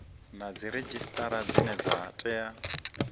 na dziredzhisitara dzine dza tea